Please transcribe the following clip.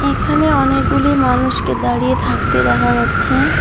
এখানে অনেকগুলি মানুষকে দাঁড়িয়ে থাকতে দেখা যাচ্ছে।